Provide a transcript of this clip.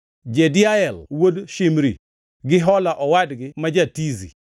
Jediael wuod Shimri, gi Joha owadgi ma ja-Tizi,